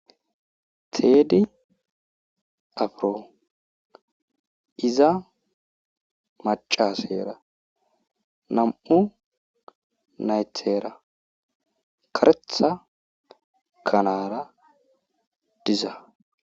Teedi afiro iza maccasera nam'u naytara kareththa kanara diza.